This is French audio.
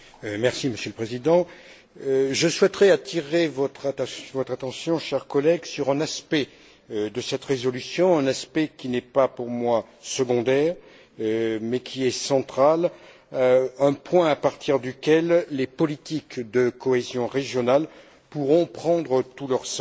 Monsieur le Président, je souhaiterais attirer votre attention, chers collègues, sur un aspect de cette résolution, un aspect qui n'est pas pour moi secondaire, mais qui est central, un point à partir duquel les politiques de cohésion régionale pourront prendre tout leur sens.